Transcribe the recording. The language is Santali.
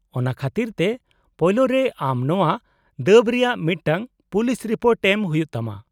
-ᱚᱱᱟ ᱠᱷᱟᱹᱛᱤᱨ ᱛᱮ ᱯᱳᱭᱞᱳ ᱨᱮ ᱟᱢ ᱱᱚᱶᱟ ᱫᱟᱹᱵᱽ ᱨᱮᱭᱟᱜ ᱢᱤᱫᱴᱟᱝ ᱯᱩᱞᱤᱥ ᱨᱤᱯᱳᱴ ᱮᱢ ᱦᱩᱭᱩᱜ ᱛᱟᱢᱟ ᱾